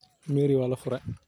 Merry walafurey.